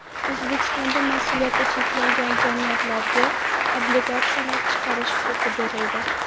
O‘zbekistonda mas’uliyati cheklangan jamiyatlarga obligatsiyalar chiqarish huquqi berildi.